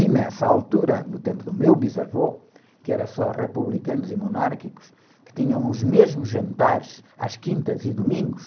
E nessa altura, no tempo do meu bisavô, que era só republicanos e monárquicos, que tinham os mesmos jantares às quintas e domingos,